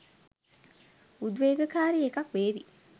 උදේවේගකාරී එකක් වේවි